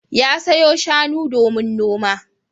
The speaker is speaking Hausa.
Ya sayo shanu domin noma.